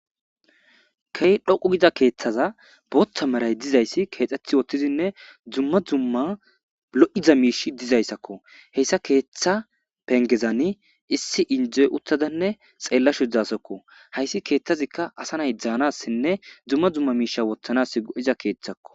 key dhoqu gida keeththaza boothta maray dizayssi keexxeth woothtizinne dumma dumma lo7iza miish dizayssakko heyssa keeththa pengezani issi indzoy uttadanne xeellashu dasakko hayssi keeththazikka asa nay dzaanassinne dzumma dzumma miisha wottanas go7iza keeththakko